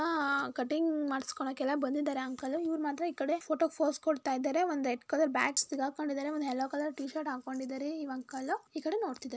Cutting ಮಾಡ್ಸಕ್ಕೆ ಬಂದಿದ್ದಾರೆ ಅನ್ಕೋತೀನಿ ಇವರು ಮಾತ್ರ ಇಲ್ಲಿ ಫೋಟೋಗೆ ಪೋಸ್ ಕೊಡ್ತಾ ಇದ್ದಾರೆ ರೆಡ್ ಕಲರ್ ಬ್ಯಾಗ್ ತಗ್ಲಾಕೊಂಡಿದ್ದರೆ ಎಲ್ಲೋ ಕಲರ್ ಟಿ ಶರ್ಟ್ ಹಾಕ್ಕೊಂಡಿದ್ದಾರೆ ಈ ಅಂಕಲ್.